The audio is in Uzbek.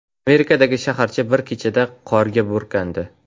Amerikadagi shaharcha bir kechada qorga burkandi.